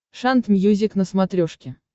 шант мьюзик на смотрешке